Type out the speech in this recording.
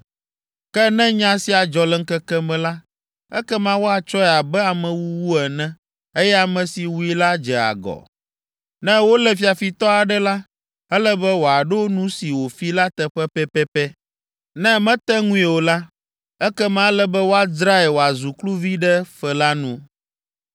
Ke ne nya sia dzɔ le ŋkeke me la, ekema woatsɔe abe amewuwu ene, eye ame si wui la dze agɔ. “Ne wolé fiafitɔ aɖe la, ele be wòaɖo nu si wòfi la teƒe pɛpɛpɛ. Ne mete ŋui o la, ekema ele be woadzrae wòazu kluvi ɖe fe la nu.